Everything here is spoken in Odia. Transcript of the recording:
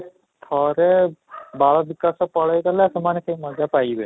ଥରେ ବାଳ ବିକାଶ ପଳେଇ ଗଲେ ସେମାନେ ସେଇ ମଜା ପାଇବେନି